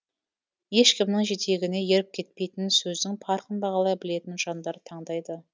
ешкімнің жетегіне еріп кетпейтін сөздің парқын бағалай білетін жандар таңдайды